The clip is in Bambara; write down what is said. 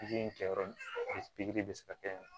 Pikiri in kɛ yɔrɔ pikiri bɛ se ka kɛ